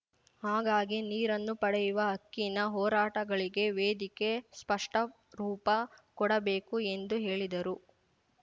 ಹಾಗಾಗಿ ನೀರನ್ನು ಪಡೆಯುವ ಹಕ್ಕಿನ ಹೋರಾಟಗಳಿಗೆ ವೇದಿಕೆ ಸ್ಪಷ್ಟರೂಪ ಕೊಡಬೇಕು ಎಂದು ಹೇಳಿದರು